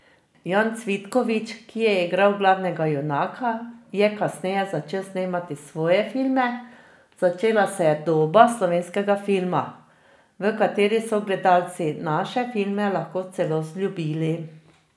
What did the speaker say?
Jan Cvitkovič, ki je igral glavnega junaka, je kasneje začel snemati svoje filme, začela se je doba slovenskega filma, v kateri so gledalci naše filme lahko celo vzljubili.